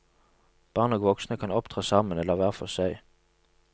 Barn og voksne kan opptre sammen eller hver for seg.